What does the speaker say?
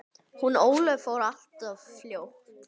Hún Ólöf fór alltof fljótt.